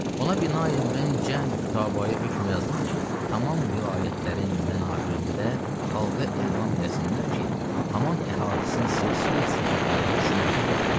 Ona binaən mən cəm xitabaya hökm yazdım ki, tamam vilayətlərin mənabirində xalqa elam eləsinlər ki, haman əhdisinin silsileyi səfəviyyəyə şümulu yoxdur.